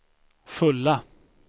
fulla